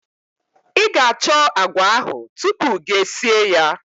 I ga-achọ agwa ahụ tupu gi esie ya.